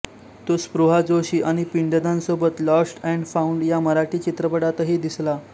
तो स्पृहा जोशी आणि पिंडदान सोबत लॉस्ट अँड फाउंड या मराठी चित्रपटातही दिसला